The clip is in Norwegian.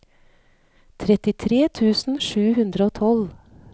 trettitre tusen sju hundre og tolv